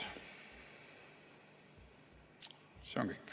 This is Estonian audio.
See on kõik.